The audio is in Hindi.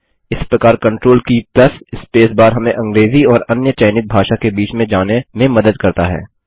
इस प्रकार कंट्रोल की प्लस स्पेस बार हमें अंग्रेजी और अन्य चयनित भाषा के बीच में जाने में मदद करता है